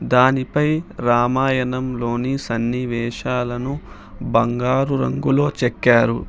దానిపై రామాయణం లోని సన్నివేశాలను బంగారు రంగులో చెక్కారు.